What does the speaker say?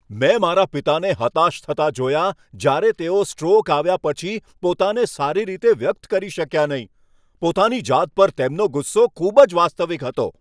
મેં મારા પિતાને હતાશ થતા જોયા જ્યારે તેઓ સ્ટ્રોક આવ્યા પછી પોતાને સારી રીતે વ્યક્ત કરી શક્યા નહીં. પોતાની જાત પર તેમનો ગુસ્સો ખૂબ જ વાસ્તવિક હતો.